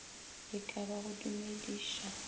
e ka ba go dumediša